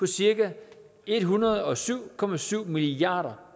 cirka en hundrede og syv og syv milliard